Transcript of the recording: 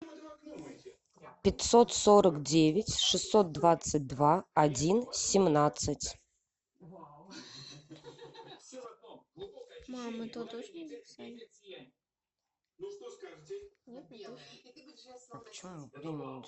пятьсот сорок девять шестьсот двадцать два один семнадцать